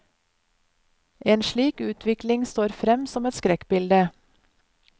En slik utvikling står frem som et skrekkbilde.